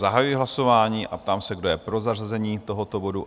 Zahajuji hlasování a ptám se, kdo je pro zařazení tohoto bodu?